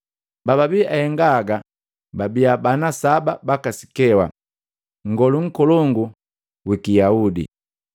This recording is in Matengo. Bababii ahenga haga bana saba baka Sikewa, nngolu nkolongu wiki Yaudi.